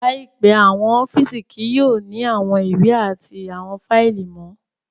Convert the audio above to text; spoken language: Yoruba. Laipẹ, awọn ọfiisi kii yoo ni awọn iwe ati awọn faili mọ